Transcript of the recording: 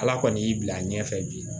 Ala kɔni y'i bila a ɲɛfɛ bi